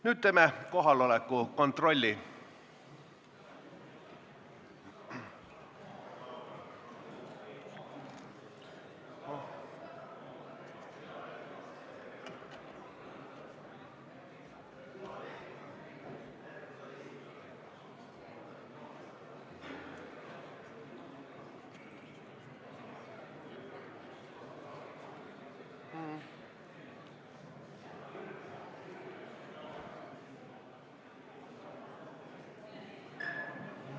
Nüüd teeme kohaloleku kontrolli.